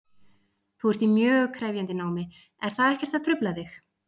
Þú ert í mjög krefjandi námi, er það ekkert að trufla þig?